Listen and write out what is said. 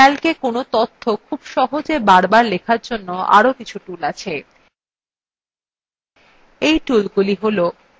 তবে calcএ কোনো তথ্য খুব সহজে বারবার লেখার জন্য আরো কিছু tools আছে